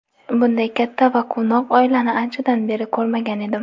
Bunday katta va quvnoq oilani anchadan beri ko‘rmagan edim.